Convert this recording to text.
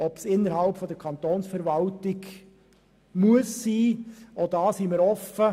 Ob innerhalb der Kantonsverwaltung gespart werden muss, lassen wir offen.